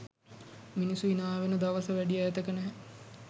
මිනිස්සු හිනාවෙන දවස වැඩි ඈතක නැහැ.